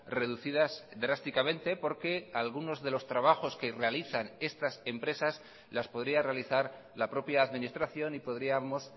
reducidas drásticamente porque algunos de los trabajos que realizan estas empresas las podría realizar la propia administración y podríamos